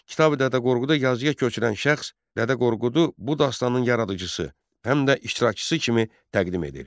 Kitabi Dədə Qorqudu yazıya köçürən şəxs Dədə Qorqudu bu dastanın yaradıcısı, həm də iştirakçısı kimi təqdim edir.